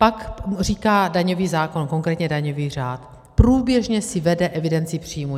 Pak říká daňový zákon, konkrétně daňový řád: průběžně si vede evidenci příjmů.